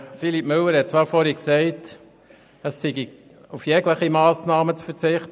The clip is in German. Philippe Müller hat aber vorhin gesagt, es sei auf jegliche Massnahme zu verzichten.